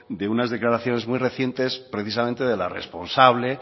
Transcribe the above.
de unas declaraciones muy recientes precisamente de la responsable